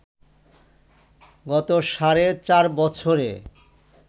গত সাড়ে চার বছরে